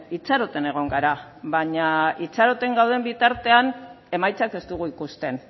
itxaroten egon gara baina itxaroten gauden bitartean emaitzak ez dugu ikusten